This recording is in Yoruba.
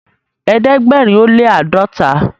ẹdẹgbẹrin o le ãdọta